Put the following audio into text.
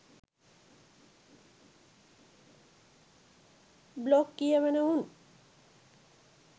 blog කියවන උන්